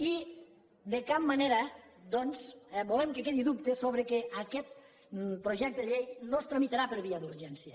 i de cap manera doncs volem que quedi dubte sobre el fet que aquest projecte de llei no es tramitarà per via d’urgència